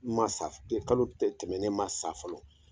Ma sa Kalo tɛmɛn nen ma sa fɔlɔ